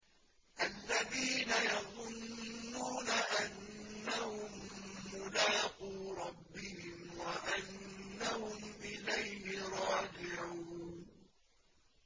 الَّذِينَ يَظُنُّونَ أَنَّهُم مُّلَاقُو رَبِّهِمْ وَأَنَّهُمْ إِلَيْهِ رَاجِعُونَ